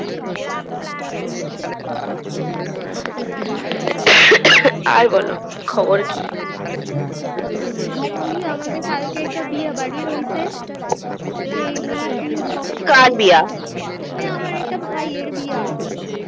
আর বোলো খবর কি আমার ওই আমাদের কাল কে একটা বিয়ে বাড়ি রয়েছে সেই নিয়ে কি পড়া কার বিয়া ওই আমার একটা ভাই আর বিয়া আছে